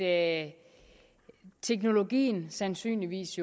at teknologien sandsynligvis